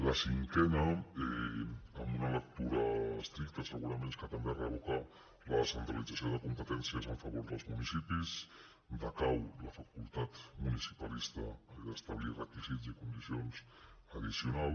la cinquena amb una lectura estricta segurament és que també revoca la descentralització de competències a favor dels municipis decau la facultat municipalista d’establir requisits i condicions addicionals